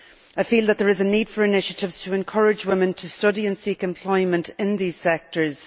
I feel that there is a need for initiatives to encourage women to study and seek employment in these sectors.